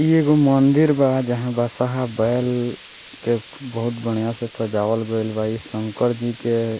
इ एगो मंदिर बा जहाँ बसहा बैल के बहुत बढ़ियां से सजावल गईल बा। इ शंकर जी के --